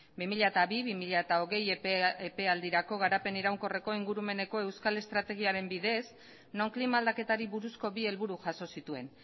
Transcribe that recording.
bi mila bi bi mila hogei epealdirako garapen iraunkorreko ingurumeneko euskal estrategiaren bidez non klima aldaketari buruzko bi helburu jaso zituen